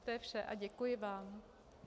To je vše a děkuji vám.